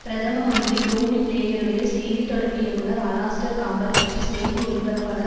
பிரதம மந்திரி டோனி பிளேயருடைய செய்தி தொடர்பு இயக்குநர் அலாஸ்டர் காம்பல் பற்றி செய்தி ஒலிபரப்பாளர்